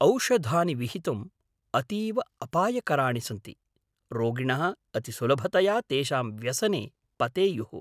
औषधानि विहितुम् अतीव अपायकराणि सन्ति, रोगिणः अतिसुलभतया तेषां व्यसने पतेयुः।